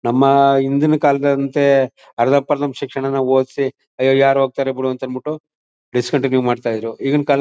ನಮ್ಮ ಹಿಂದಿನ ಕಾಲದಂತೆ ಅರ್ಧಪರ್ದನ ಶಿಕ್ಷಾನ್ನ ಒದ್ಸಿ ಅಯ್ಯೋ ಯಾರ್ ಹೋಕ್ತಾರೆ ಬಿಡು ಅಂದ್ಬಿಟ್ಟು ಡಿಸ್ಕಾಣ್ತಿನುಎ ಮಾಡತಾಯಿದ್ರು ಈಗಿನ್ ಕಾಲ--